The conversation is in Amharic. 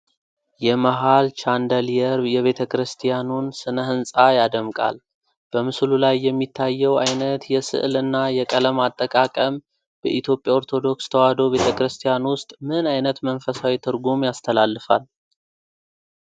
የመሀል ቻንደሊየር የቤተክርስቲያኑን ስነ-ህንፃ ያደምቃል። በምስሉ ላይ የሚታየው ዓይነት የሥዕል እና የቀለም አጠቃቀም በኢትዮጵያ ኦርቶዶክስ ተዋሕዶ ቤተ ክርስቲያን ውስጥ ምን ዓይነት መንፈሳዊ ትርጉም ያስተላልፋል?